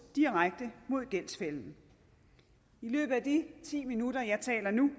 direkte mod gældsfælden i løbet af de ti minutter jeg taler nu